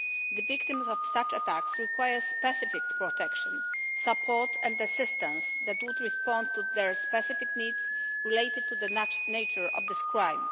The victims of such attacks require specific protection, support and assistance that would respond to their specific needs related to the nature of this crime.